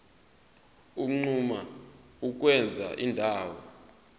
unquma ukwenza indawo